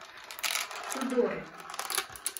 тюдоры